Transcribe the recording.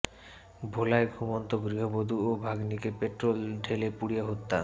ভোলায় ঘুমন্ত গৃহবধূ ও ভাগনিকে পেট্রল ঢেলে পুড়িয়ে হত্যা